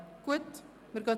– Gut, das ist der Fall.